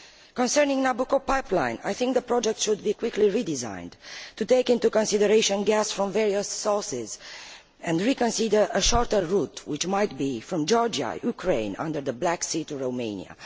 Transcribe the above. Concerning the Nabucco pipeline, I think the project should be quickly redesigned to take into consideration gas from various sources, and reconsider a shorter route which might lead from Georgia, Ukraine, under the Black Sea to Romania.